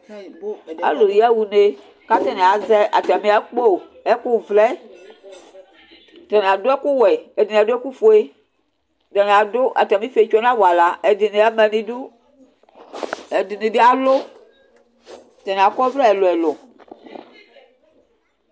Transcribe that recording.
Alʋ yaxa une kʋ atani azɛ atami akpo Ɛkʋvlɛ, atani adʋ ɛkʋwɛ, ɛdini adʋ ɛkʋfue, atani adʋ atami ifietso nʋ awala Ɛdini ama nʋ idʋ, ɛdini bi alʋ, atani akɔ ɔvlɛ ɛlʋ ɛlʋ